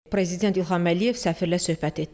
Prezident İlham Əliyev səfirlə söhbət etdi.